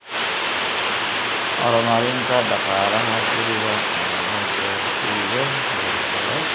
Horumarinta Dhaqaalaha Guriga oo la gaarsiiyo heer sare.